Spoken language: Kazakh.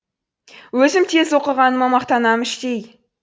өзім тез оқығаныма мақтанам іштей